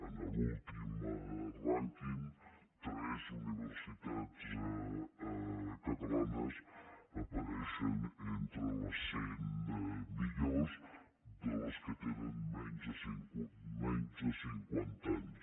en l’últim rànquing tres universitats catalanes apareixen entre les cent millors de les que tenen menys de cinquanta anys